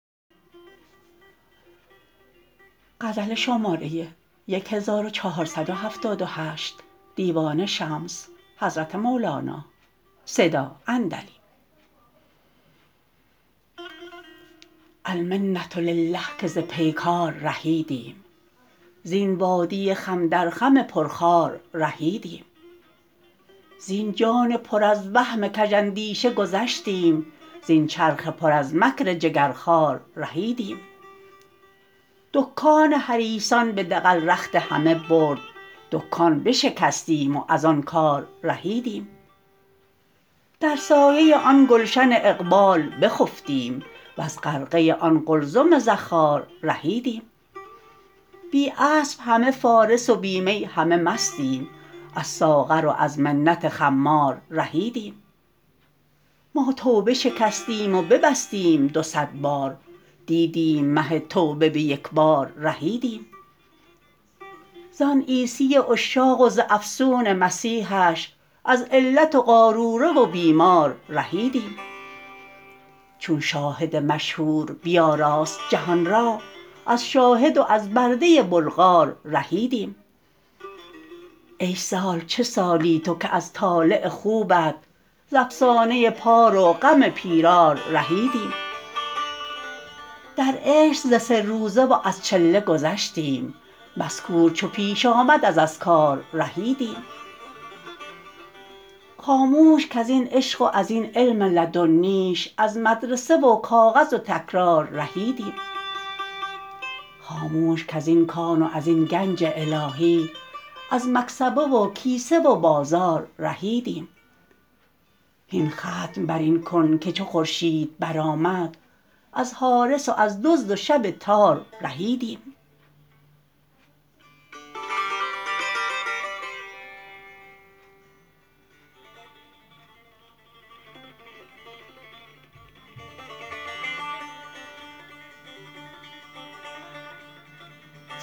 المنه لله که ز پیکار رهیدیم زین وادی خم در خم پرخار رهیدیم زین جان پر از وهم کژاندیشه گذشتیم زین چرخ پر از مکر جگرخوار رهیدیم دکان حریصان به دغل رخت همه برد دکان بشکستیم و از آن کار رهیدیم در سایه آن گلشن اقبال بخفتیم وز غرقه آن قلزم زخار رهیدیم بی اسب همه فارس و بی می همه مستیم از ساغر و از منت خمار رهیدیم ما توبه شکستیم و ببستیم دو صد بار دیدیم مه توبه به یک بار رهیدیم زان عیسی عشاق و ز افسون مسیحش از علت و قاروره و بیمار رهیدیم چون شاهد مشهور بیاراست جهان را از شاهد و از برده بلغار رهیدیم ای سال چه سالی تو که از طالع خوبت ز افسانه پار و غم پیرار رهیدیم در عشق ز سه روزه و از چله گذشتیم مذکور چو پیش آمد از اذکار رهیدیم خاموش کز این عشق و از این علم لدنیش از مدرسه و کاغذ و تکرار رهیدیم خاموش کز این کان و از این گنج الهی از مکسبه و کیسه و بازار رهیدیم هین ختم بر این کن که چو خورشید برآمد از حارس و از دزد و شب تار رهیدیم